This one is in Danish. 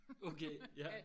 Okay ja